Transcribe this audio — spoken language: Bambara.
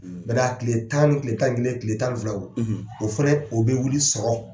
Ni bɛɛ la tile tan, tile tan ni kelen, tile tan filaw, , o fana, o bɛ wili sɔgɔma.